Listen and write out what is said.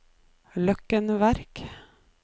Løkken Verk